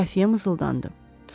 Xəfiyyə mızıldandı.